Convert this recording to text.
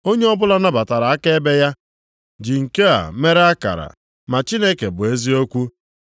Onye ọbụla nabatara akaebe ya ji nke a mere akara, na Chineke bụ eziokwu.